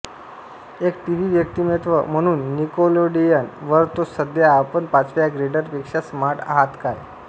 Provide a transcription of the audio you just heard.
एक टीव्ही व्यक्तिमत्त्व म्हणून निकेलोडियन वर तो सध्या आपण पाचव्या ग्रेडरपेक्षा स्मार्ट आहात काय